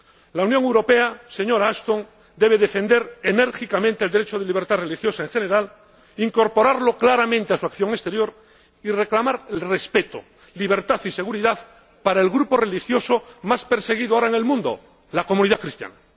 La Unión Europea, señora Ashton, debe defender enérgicamente el derecho a la libertad religiosa en general, incorporarlo claramente a su acción exterior y reclamar respeto, libertad y seguridad para el grupo religioso más perseguido ahora en el mundo, la comunidad cristiana.